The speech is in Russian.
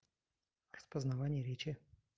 распознавание речи